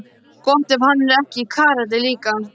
Gott ef hann er ekki í karate líka.